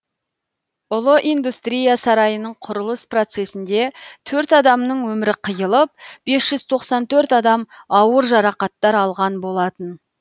ұлы индустрия сарайының құрылыс процесінде төрт адамның өмірі қиылып бес жүз тоқсан төрт адам ауыр жарақаттар алған болатын